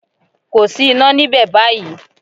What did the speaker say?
Kò sí iná níbẹ̀ báyìí